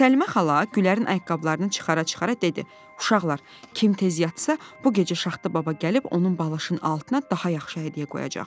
Səlimə xala Gülərin ayaqqabılarını çıxara-çıxara dedi: "Uşaqlar, kim tez yatsa, bu gecə Şaxta baba gəlib onun balışının altına daha yaxşı hədiyyə qoyacaq."